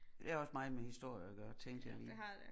Det har også meget med historie at gøre tænkte jeg lige